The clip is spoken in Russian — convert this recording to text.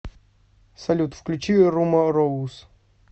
салют включи румороус